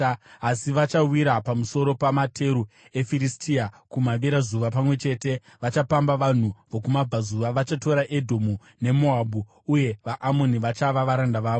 Asi vachawira pamusoro pamateru eFiristia kumavirazuva; pamwe chete vachapamba vanhu vokumabvazuva. Vachatora Edomu neMoabhu, uye vaAmoni vachava varanda vavo.